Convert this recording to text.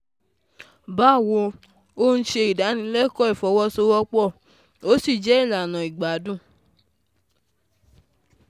Báwo Ò ń ṣe ìdánilẹ́kọ̀ọ́ ìfọwọ́sowọ́pọ̀, ó sì jẹ́ ìlànà ìgbádùn